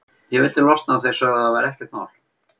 Ég vildi losna og þeir sögðu að það væri ekkert mál.